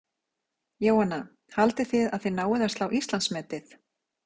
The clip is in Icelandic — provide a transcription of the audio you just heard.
Jóhanna: Haldið þið að þið náið að slá Íslandsmetið?